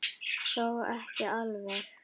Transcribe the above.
Þó ekki alveg.